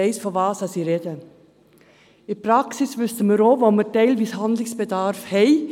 In der Praxis wissen wir auch, wo teilweise Handlungsbedarf besteht.